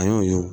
An y'o ye